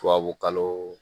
Tubabukalo